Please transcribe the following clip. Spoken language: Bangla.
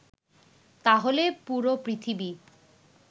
তাহলে পুরো পৃথিবী